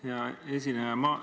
Hea esineja!